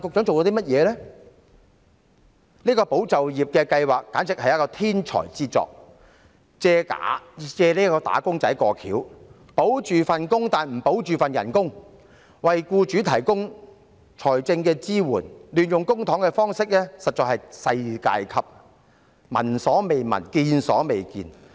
這項"保就業"計劃可算是一項天才之作，借"打工仔"的名義，聲稱保就業，但不保工資，為僱主提供財政支援，這種亂用公帑的方式實在是世界級，聞所未聞，見所未見。